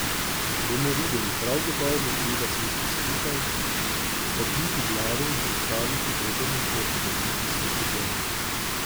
Bomo videli, prav gotovo bo treba sesti skupaj, stakniti glave in pripraviti dober načrt za olimpijsko sezono.